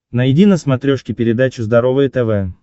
найди на смотрешке передачу здоровое тв